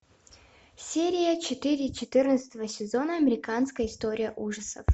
серия четыре четырнадцатого сезона американская история ужасов